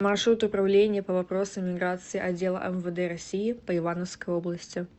маршрут управление по вопросам миграции отдела мвд россии по ивановской области